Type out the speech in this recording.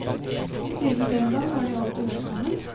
Og siden den gang har de alltid hørt sammen.